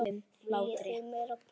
Viljið þið meira blóð?